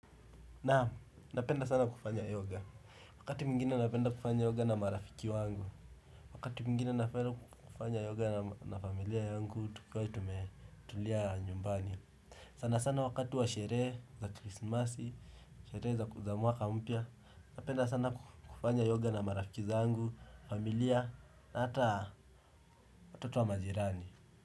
Naam, napenda sana kufanya yoga. Wakati mwingine napenda kufanya yoga na marafiki wangu. Wakati mwingine napenda kufanya yoga na familia yangu, tukiwa tumetulia nyumbani. Sana sana wakati wa sherehe za krismasi, sherehe za mwaka mpya. Napenda sana kufanya yoga na marafiki zangu, familia na hata watoto wa majirani.